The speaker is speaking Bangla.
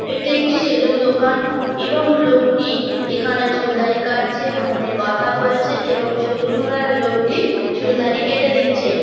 এটি একটি সেলুন দোকান এবং লোকটি এখানে চুল দাড়ি কাটছে ফোনে কথা বলছে এবং সালুন ওয়ালা লোকটি চুল দাড়ি কেটে দিচ্ছে।